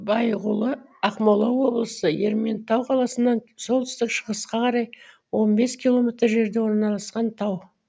байғұлы ақмола облысы ерейментау қаласынан солтүстік шығысқа қарай он бес километр жерде орналасқан тау